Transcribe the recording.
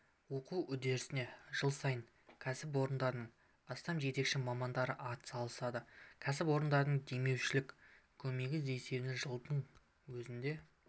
оқу үдерісіне жыл сайын кәсіпорындардың астам жетекші мамандары атсалысады кәсіпорындардың демеушілік көмегі есебінен жылдың өзінде